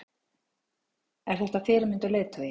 Er þetta fyrirmynd og leiðtogi?